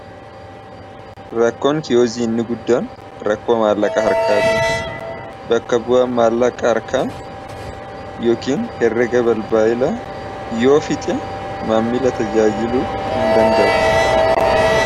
Rakkoon kiyoziiinbinni guddaan rakkoo maallaqa harkaate bakka bu'a maallaqa harkaa yookiin herrega bal baayilaa yoo fixe maammila tajaajiluu hin danda'u.